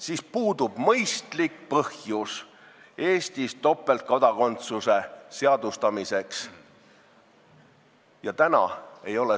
Seega puudub Eestis topeltkodakondsuse seadustamiseks mõistlik põhjus.